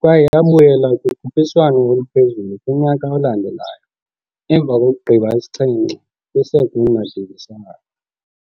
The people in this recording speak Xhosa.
kwaye yabuyela kukhuphiswano oluphezulu kunyaka olandelayo emva kokugqiba isixhenxe kwi-Segunda Divisão.